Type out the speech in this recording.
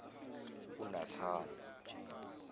unathana